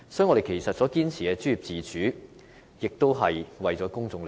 我們堅持專業自主，也是為了公眾的利益。